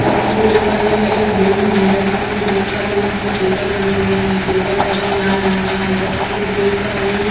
जैसा की मैं देख पा रही हूँ यह एक रूम है जैसा की मैं देख पा रही हूँ यहाँ पर टेबल बने हुए हैं टेबल का रंग लाल रंग का हैं जैसा की मैं देख पा रही हूँ --